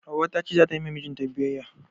Hauwa ta ce za ta yi ma mijinta biyayya.